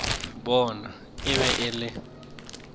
bona e be e le